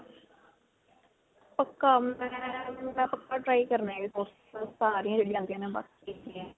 ਪੱਕਾ ਮੈਂ ਪੱਕਾ try ਕਰਨੇ ਹੈ ਇਹ sports .